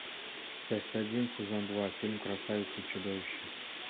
часть один сезон два фильм красавица и чудовище